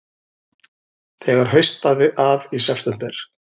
Þegar haustaði að í september